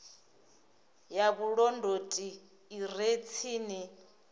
ya vhulondoti i re tsini